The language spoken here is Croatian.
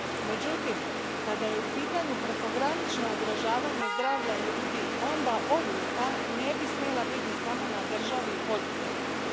Međutim, kada je u pitanju prekogranično ugrožavanje zdravlja ljudi onda odluka ne bi smjela biti samo na državi i poduzetniku.